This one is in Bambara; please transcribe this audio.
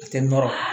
A tɛ nɔrɔ